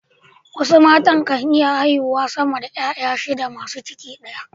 wasu matan kan iya haihuwa sama da ’ya’ya shida masu ciki daya